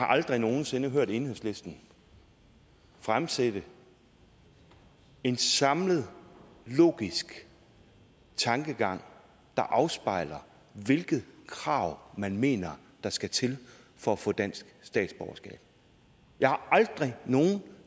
aldrig nogen sinde hørt enhedslisten fremsætte en samlet logisk tankegang der afspejler hvilke krav man mener der skal til for at få dansk statsborgerskab jeg har aldrig nogen